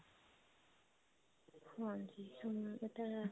ਹਾਂਜੀ ਹਾਂ ਇਹ ਤਾਂ ਹੈ